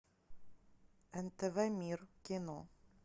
нтв мир кино